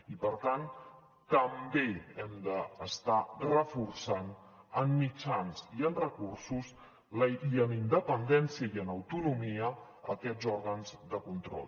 i per tant també hem d’estar reforçant en mitjans i en recursos i en independència i en autonomia aquests òrgans de control